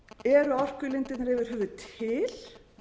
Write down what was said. eru orkulindirnar yfir höfuð til